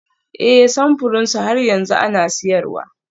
Ee, samfuran su har yanzu ana siyarwa